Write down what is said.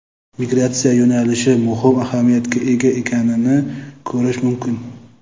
migratsiya yo‘nalishi muhim ahamiyatga ega ekanini ko‘rish mumkin.